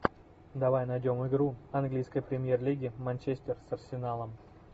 давай найдем игру английской премьер лиги манчестер с арсеналом